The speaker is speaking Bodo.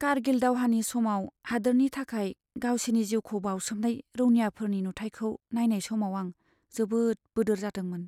कार्गिल दावहानि समाव हादोरनि थाखाय गावसिनि जिउखौ बावसोमनाय रौनियाफोरनि नुथाइफोरखौ नायनाय समाव आं दुखुजों बोदोर जादोंमोन।